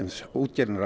útgerðin er að